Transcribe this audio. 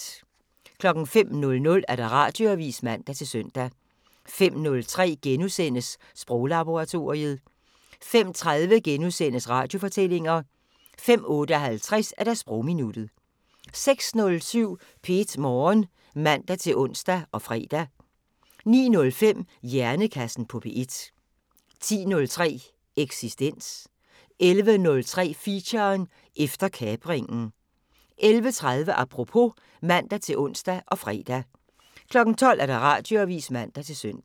05:00: Radioavisen (man-søn) 05:03: Sproglaboratoriet * 05:30: Radiofortællinger * 05:58: Sprogminuttet 06:07: P1 Morgen (man-ons og fre) 09:05: Hjernekassen på P1 10:03: Eksistens 11:03: Feature: Efter kapringen 11:30: Apropos (man-ons og fre) 12:00: Radioavisen (man-søn)